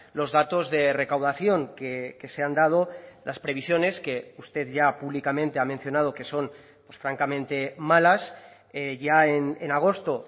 los datos de recaudación que se han dado las previsiones que usted ya públicamente ha mencionado que son pues francamente malas ya en agosto